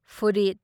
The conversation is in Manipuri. ꯐꯨꯔꯤꯠ